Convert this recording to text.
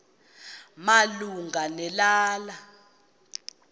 malunga ne lala